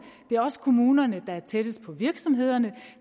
det er også kommunerne der er tættest på virksomhederne